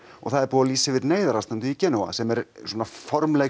og það er búið að lýsa yfir neyðarástandi sem er formleg